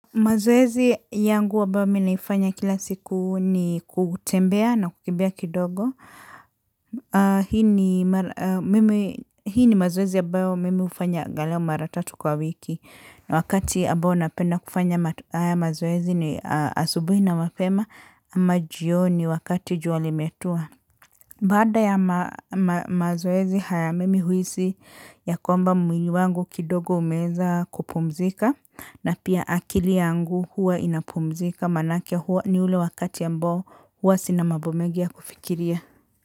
Mazoezi yangu ambayo mi naifanya kila siku ni kutembea na kukimbia kidogo aa. Hii ni mazoezi ya ambayo mimi hufanya aghalau mara tatu kwa wiki. Wakati ambao napenda kufanya haya mazoezi ni asubuhi na mapema, ama jioni wakati jua limetua. Baada ya mazoezi haya, mimi huisi ya kwamba mwili wangu kidogo umeeza kupumzika. Na pia akili yangu huwa inapumzika manake huwa ni ule wakati ya ambao huwa sina mambo mengi ya kufikiria.